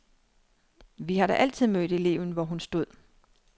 Vi har da altid mødt eleven, hvor hun stod.